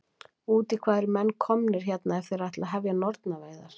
Út í hvað eru menn komnir hérna ef þeir ætla að hefja svona nornaveiðar?